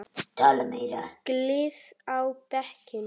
Gylfi á bekkinn?